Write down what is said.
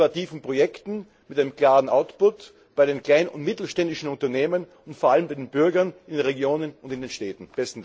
Bei innovativen Projekten mit einem klaren Output bei den kleinen und mittelständischen Unternehmen und vor allem bei den Bürgern in den Regionen und in den Städten.